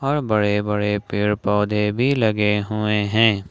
बड़े बड़े पेड़ पौधे भी लगे हुए हैं।